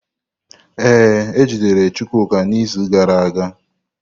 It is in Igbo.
Ee, ejidere Chukwuka n’izu gara aga.